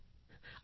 आहे नं मजेदार